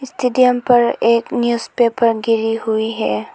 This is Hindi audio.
स्टेडियम पर एक न्यूजपेपर गिरी हुई है।